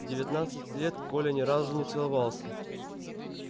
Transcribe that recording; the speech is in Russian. в девятнадцать лет коля ни разу не целовался